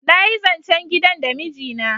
nayi zancen gidan da miji na